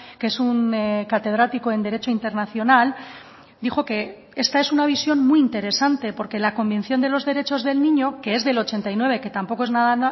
que es un catedrático en derecho internacional dijo que esta es una visión muy interesante porque la convención de los derechos del niño que es del ochenta y nueve que tampoco es nada